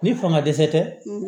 Ni fanga dɛsɛ tɛ